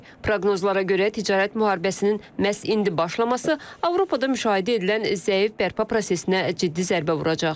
Proqnozlara görə ticarət müharibəsinin məhz indi başlaması Avropada müşahidə edilən zəif bərpa prosesinə ciddi zərbə vuracaq.